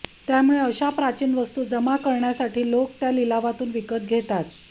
त्यामुळे अश्या प्राचीन वस्तू जमा करण्यासाठी लोक त्या लिलावातून विकत घेतात